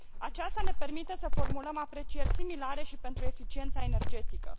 Aceasta ne permite să formulăm aprecieri similare și pentru eficiența energetică.